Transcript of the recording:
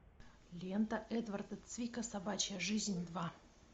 лента эдварда цвика собачья жизнь два